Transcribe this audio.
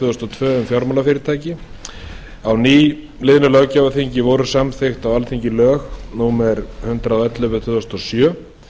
þúsund og tvö um fjármálafyrirtæki á nýliðnu löggjafarþingi voru samþykkt á alþingi lög númer hundrað og ellefu tvö þúsund og sjö um